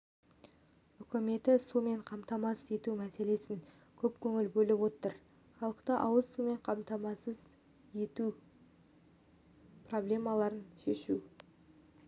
үкіметі сумен қамтамасыз ету мәселесіне көп көңіл бөліп отыр халықты ауыз сумен қамтамасыз ету проблемаларын шешу